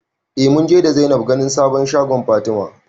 Eh munje da Zainab ganin sabon shagon Fatima